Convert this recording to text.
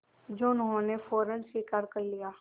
जो उन्होंने फ़ौरन स्वीकार कर लिया